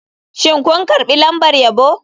Shin kun karbi lambar yabo?